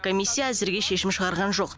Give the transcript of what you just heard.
комиссия әзірге шешім шығарған жоқ